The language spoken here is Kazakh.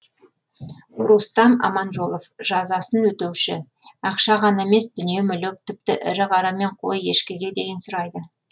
рустам аманжолов жазасын өтеуші ақша ғана емес дүние мүлік тіпті ірі қара мен қой ешкіге дейін сұрайды